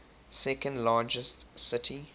second largest city